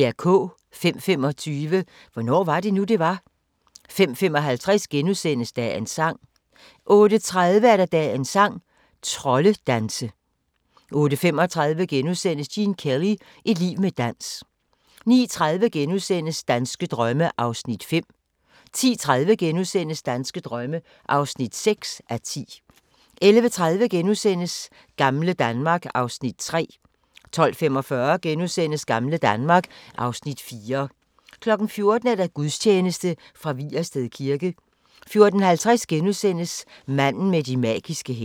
05:25: Hvornår var det nu, det var? 05:55: Dagens sang * 08:30: Dagens sang: Troldedanse 08:35: Gene Kelly – et liv med dans * 09:30: Danske drømme (5:10)* 10:30: Danske drømme (6:10)* 11:30: Gamle Danmark (Afs. 3)* 12:45: Gamle Danmark (Afs. 4)* 14:00: Gudstjeneste fra Vigersted kirke 14:50: Manden med de magiske hænder *